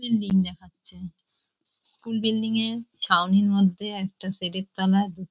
Building দেখাচ্ছে . School building -এ ছাউনির মধ্যে একটা শেড -এর তলায় --